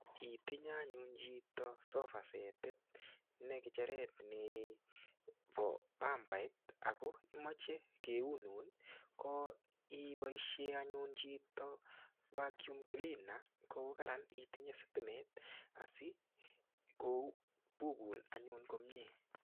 Itenye anyun chito sofa set, ne kicheret nebo mambait ago imoche keunun kot iboisie anyun chito vacuum cleaner ko kararan itinye sitimet asi kobukun anyun komie